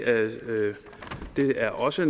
er også